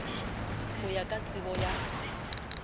ho ya ka tsebo ya